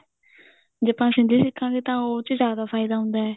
ਜੇ ਆਪਾਂ ਸ਼ਿੰਦੀ ਦੇਖਾਗੇ ਤਾਂ ਉਸ ਚ ਜਿਆਦਾ ਫਾਇਦਾ ਹੁੰਦਾ